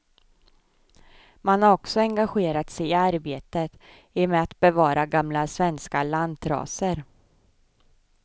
Man har också engagerat sig i arbetet i med att bevara gamla svenska lantraser.